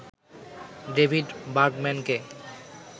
David বার্গম্যানকে